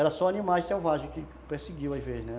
Era só animais selvagens que perseguiam às vezes, né?